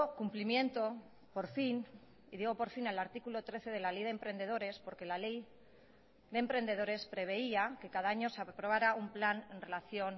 cumplimiento por fin y digo por fin al artículo trece de la ley de emprendedores porque la ley de emprendedores preveía que cada año se aprobara un plan en relación